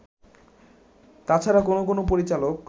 তাছাড়া কোন কোন পরিচালক